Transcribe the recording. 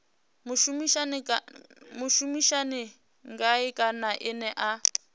mushumisani ngae kana ene a